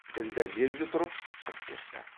ділдә лезде тұрып шығып кетті